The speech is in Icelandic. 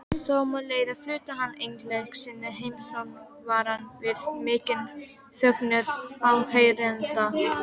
Sömuleiðis flutti hann einleik sinn, Heimssöngvarann, við mikinn fögnuð áheyrenda.